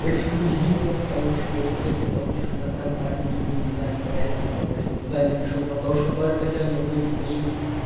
эксклюзивно потому что те кто подписан на контакт не будут знать про это потому что туда я напишу потому что только сегодня будет стрим